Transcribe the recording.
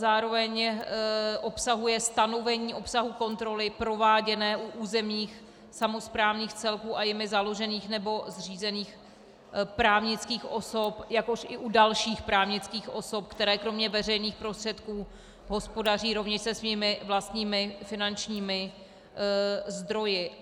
Zároveň obsahuje stanovení obsahu kontroly prováděné u územních samosprávných celků a jimi založených nebo zřízených právnických osob, jakož i u dalších právnických osob, které kromě veřejných prostředků hospodaří rovněž se svými vlastními finančními zdroji.